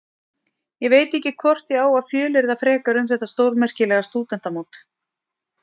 Ég veit ekki hvort ég á að fjölyrða frekar um þetta stórmerkilega stúdentamót.